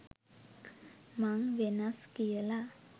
මං වෙනස් කියලා.